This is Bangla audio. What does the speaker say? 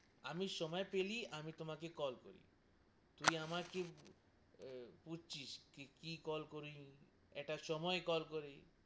আমি সময় পেলেই আমি তোমাকে কল করি তুই আমাকে বুঝছিস কি কল করলু? একটা সময় করি,